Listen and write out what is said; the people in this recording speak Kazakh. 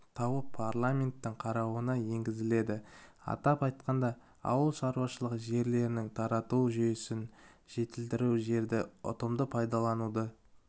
тауып парламенттің қарауына енгізіледі атап айтқанда ауыл шаруашылығы жерлерін тарату жүйесін жетілдіру жерді ұтымды пайдалануды